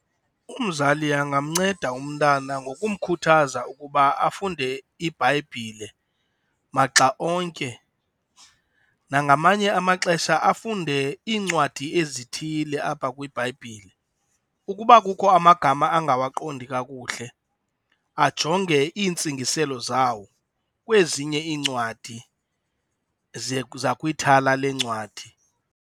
Umzali angamnceda umntana ngokukhuthaza ukuba afunde iBhayibhile maxa onke nangamanye amaxesha afunde iincwadi ezithile apha kwiBhayibhile. Ukuba kukho amagama angawaqondi kakuhle, ajonge iintsingiselo zawo kwezinye iincwadi zakwithala leencwadi.